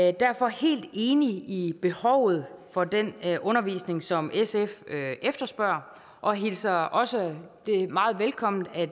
er derfor helt enig i behovet for den undervisning som sf efterspørger og hilser det også meget velkommen at